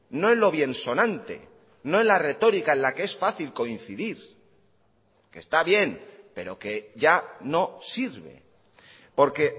no en lo bien sonante no en la retórica en la que es fácil coincidir que está bien pero que ya no sirve porque